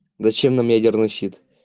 зачем нам ядерный щит